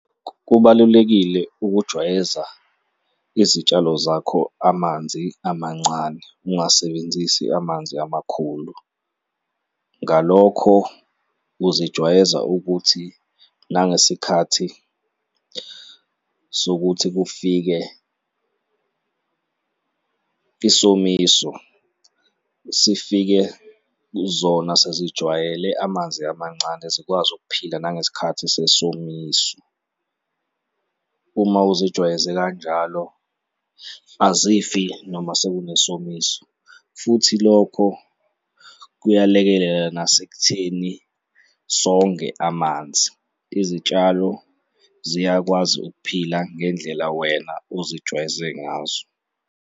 Kubalulekile ukujwayeza izitshalo zakho amanzi amancane, ungasebenzisi amanzi amakhulu. Ngalokho, ukuzijwayeza ukuthi nangesikhathi sokuthi kufike isomiso, sifike zona sezijwayele amanzi amancane, zikwazi ukuphila nangesikhathi sesomiso. Uma uzijwayeze kanjalo, azifi noma seku kunesomiso futhi lokho kuyalekelela nasekutheni songe amanzi. Izitshalo ziyakwazi ukuphila ngendlela wena ozijwayeze ngazo.